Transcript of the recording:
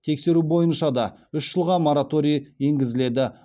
тексеру бойынша да үш жылға мораторий енгізіледі